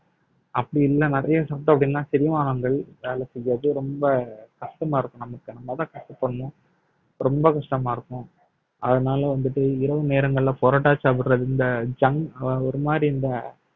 அப்படி இல்லை நிறைய சாப்பிட்டோம் அப்படின்னா செரிமானங்கள் வேலை செய்யாது ரொம்ப கஷ்டமா இருக்கும் நமக்கு நம்மதான் கஷ்டப்படணும் ரொம்ப கஷ்டமா இருக்கும் அதனால வந்துட்டு இரவு நேரங்கள்ல parotta சாப்பிடுறது இந்த junk அஹ் ஒரு மாதிரி இந்த